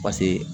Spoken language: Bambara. Paseke